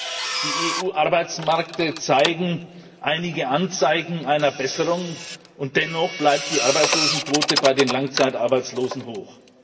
Richtig, die EU Arbeitsmärkte zeigen einige Anzeichen einer Besserung, und dennoch bleibt die Arbeitslosenquote bei den Langzeitarbeitslosen hoch.